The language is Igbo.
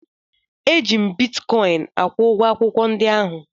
Eji m bitkọịn akwụ ụgwọ akwụkwọ ndi ahụ.